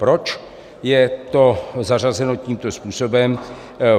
Proč je to zařazeno tímto způsobem?